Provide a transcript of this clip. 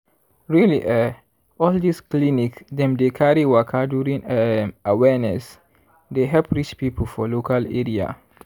really eh all this clinic dem dey carry waka during um awareness dey help reach people for local area.